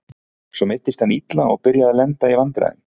Svo meiddist hann illa og byrjaði að lenda í vandræðum.